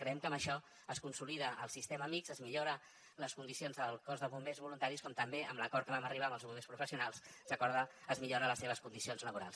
creiem que amb això es consolida el sistema mixt es millora les condicions del cos de bombers voluntaris com també amb l’acord a què vam arribar amb els bombers professionals es van millorar les seves condicions laborals